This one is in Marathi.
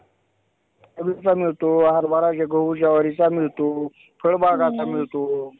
चा मिळतो हरभरा गहू, ज्वारीचा मिळतो. फळबागाचा मिळतो.